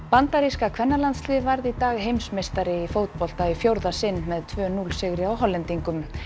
bandaríska kvennalandsliðið varð í dag heimsmeistari í fótbolta í fjórða sinn með tvö til núll sigri á Hollendingum